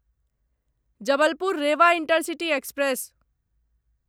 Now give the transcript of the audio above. Jabalpur Rewa intercity express